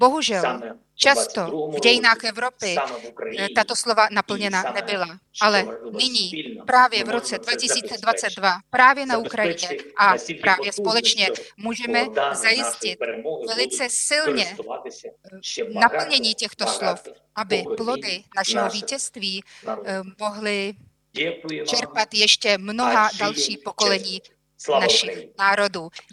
Bohužel, často v dějinách Evropy tato slova naplněna nebyla, ale nyní, právě v roce 2022, právě na Ukrajině a právě společně můžeme zajistit velice silně naplnění těchto slov, aby plody našeho vítězství mohla čerpat ještě mnohá další pokolení našich národů.